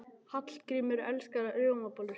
Hallgrímur elskar rjómabollur.